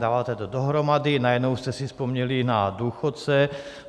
Dáváte to dohromady, najednou jste si vzpomněli na důchodce.